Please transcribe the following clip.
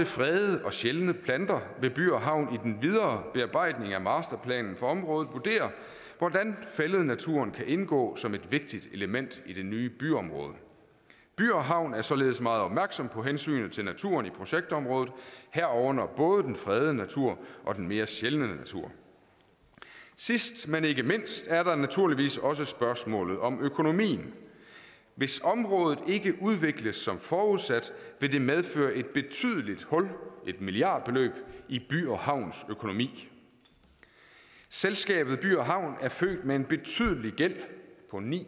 fredede og sjældne planter vil by havn i den videre bearbejdning af masterplanen for området vurdere hvordan fællednaturen kan indgå som et vigtigt element i det nye byområde by havn er således meget opmærksom på hensynet til naturen i projektområdet herunder både den fredede natur og den mere sjældne natur sidst men ikke mindst er der naturligvis også spørgsmålet om økonomien hvis området ikke udvikles som forudsat vil det medføre et betydeligt hul i et milliardbeløb i by havns økonomi selskabet by havn er født med en betydelig gæld på ni